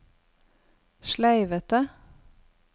sleivete